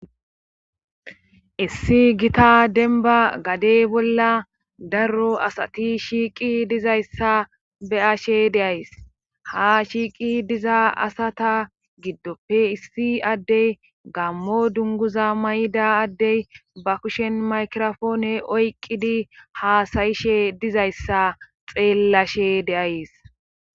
issi gita denba gadey bolla daro asati shiiqi dizayssa beashe deays ha shiiqi diza asata giddoppe issi addey gammo dunguza may7da addey ba kushen makrofoone oyqqidi haasayishe dizayssa xeellashe de7ays.